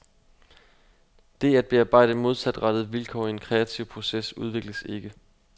Det at bearbejde modsatrettede vilkår i en kreativ proces udvikles ikke.